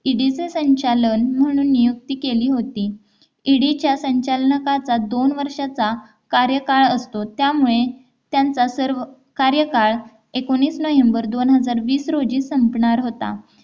ED च्या संचालन म्हणून नियुक्ती केली होती ED च्या संचालनाकाचा दोन वर्षाचा कार्यकाळ असतो त्यामुळे त्यांचा सर्व कार्यकाळ एकोणीस नोव्हेंबर दोन हजार वीस रोजी संपणार होता